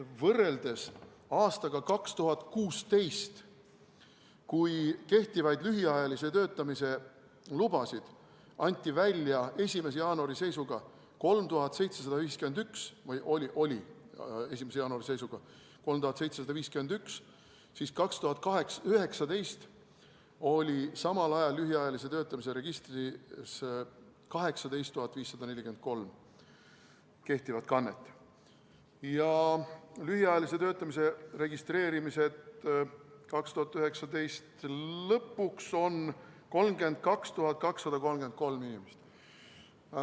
Võrreldes aastaga 2016, kui kehtivaid lühiajalise töötamise lubasid oli 1. jaanuari seisuga 3751, oli 2019 samal ajal lühiajalise töötamise registris 18 543 kehtivat kannet, ja lühiajalise töötamise registreerimisi oli 2019. aasta lõpuks 32 233.